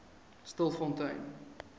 stilfontein